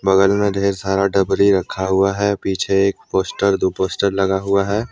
बगल में ढेर सारा डबरी रखा हुआ है पीछे एक पोस्टर दो पोस्टर लगा हुआ है ।